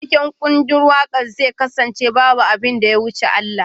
Taken kundin waƙar zai kasance ""Babu abin da ya wuce Allah"."